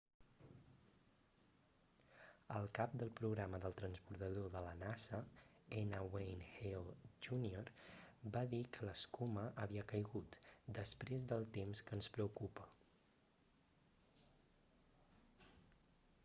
el cap del programa del transbordador de la nasa n wayne hale jr va dir que l'escuma havia caigut després del temps que ens preocupa